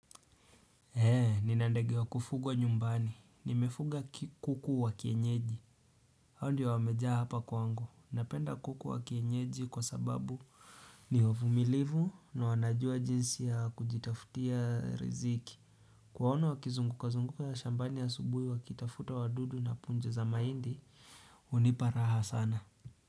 He, nina ndege wa kufugwa nyumbani. Nimefuga kuku wa kienyeji. Hawa ndio wameja hapa kwangu. Napenda kuku wa kienyeji kwa sababu ni wavumilivu na wanajua jinsi ya kujitafutia riziki. Kuwaona wakizungukazunguka shambani asubuhi wakitafuta wadudu na punja za mahindi, unipa raha sana.